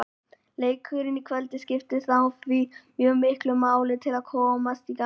Leikurinn í kvöld skiptir þá því mjög miklu máli til að komast í gang.